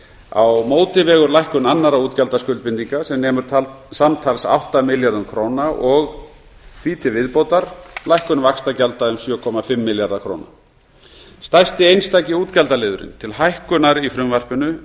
á móti vegur lækkun annarra útgjaldaskuldbindinga sem nemur samtals átta milljörðum króna og því til viðbótar lækkun vaxtagjalda um sjötíu og fimm milljarða króna stærsti einstaki útgjaldaliðurinn til hækkunar í frumvarpinu